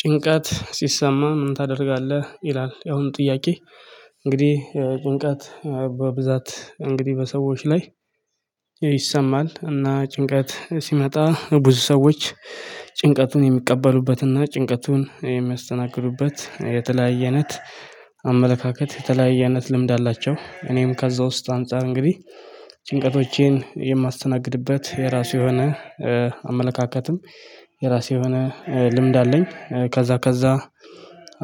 ጭንቀት ሲሰማ ምን ታደርጋለህ ይላል የአሁኑ ጥያቄ? እንግዲህ ጭንቀት በብዛት እንግዲህ በሰዎች ላይ ይሰማል። እና ጭንቀት ሲመጣ ብዙ ሰዎች ጭንቀቱን የሚቀበሉበትና ጭንቀቱን የሚያስተናግዱበት የተለያየ አይነት አመለካከት የተለያየ አይነት ልምድ አላቸው። እኔም ከዛ ውስጥ አንፃር እንግዲህ ጭንቀቶቼን የማስተናግድበት የራሱ የሆነ አመለካከትም የራሱ የሆነ ልምድ አለኝ። ከዛ ከዛ